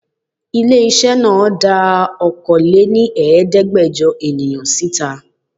Ilé-iṣẹ́ náà dá Okòó lé ní Ẹ̀ẹ́dẹ́gbẹjọ èèyàn síta.